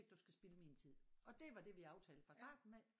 Du skal spilde min tid og det var det vi aftalte fra starten af